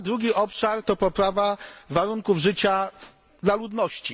Drugi obszar to poprawa warunków życia ludności.